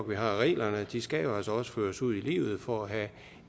vi har reglerne de skal jo altså også føres ud i livet for at have